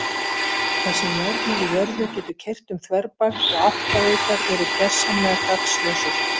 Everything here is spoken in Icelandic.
Þar sem járn er í jörðu getur keyrt um þverbak og áttavitar verið gersamlega gagnslausir.